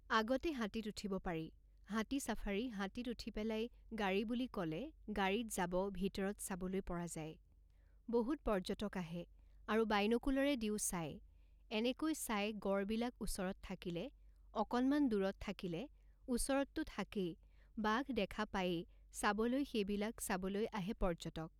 আগতে হাতীত উঠিব পাৰি, হাতী চাফাৰী হাতীত উঠি পেলাই গাড়ী বুলি ক'লে গাড়ীত যাব ভিতৰত চাবলৈ পৰা যায় বহুত পৰ্যটক আহে আৰু বাইন'কুলাৰে দিও চায় এনেকৈ চায় গঁড়বিলাক ওচৰত থাকিলে অকণমান দূৰত থাকিলে ওচৰততো থাকেই বাঘ দেখা পায়েই চাবলৈ সেইবিলাক চাবলৈ আহে পৰ্যটক